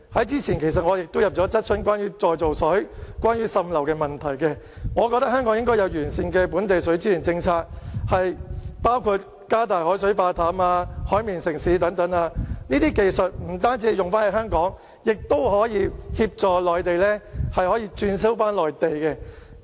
早前，我就再造水、滲漏問題提出了質詢，我覺得香港應該有完善的本地水資源政策，包括加大海水化淡、"海綿城市"等，這些技術不只適用於香港，更可協助內地、轉銷內地。